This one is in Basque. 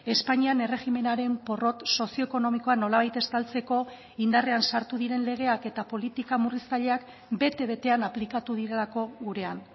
espainian erregimenaren porrot sozioekonomikoa nolabait estaltzeko indarrean sartu diren legeak eta politika murriztaileak bete betean aplikatu direlako gurean